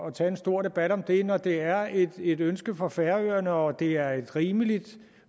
at tage en stor debat om det når det er et ønske fra færøerne og det er et rimeligt